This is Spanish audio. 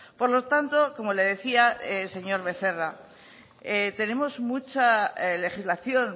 por lo tanto como le decía señor becerra tenemos mucha legislación